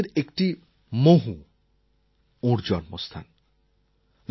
পঞ্চতীর্থের একটি মহু ওঁর জন্মস্থান